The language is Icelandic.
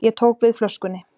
Ég tók við flöskunni.